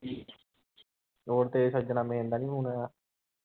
ਹੋਰ ਤੇਰੇ ਸੱਜਣਾ main ਦਾ ਨੀ ਫੌਨ ਆਇਆ